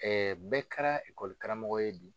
bɛɛ kɛra ye bi.